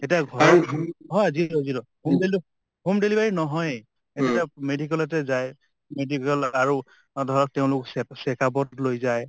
এতিয়া হয় zero zero home delivery নহয়েই । এতিয়া medical তে যায় medical ত আৰু ধৰা তেওঁলোক চেক check up ত লৈ যায়